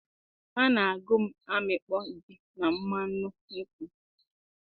a na-agụ m amịkpọ ji na mmanụ nkwụ